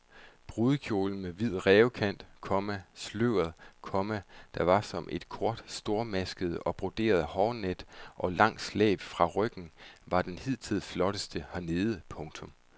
Brudekjolen med hvid rævekant, komma sløret, komma der var som et kort stormasket og broderet hårnet og langt slæb fra ryggen var den hidtil flotteste hernede. punktum